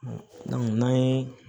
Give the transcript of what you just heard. n'an ye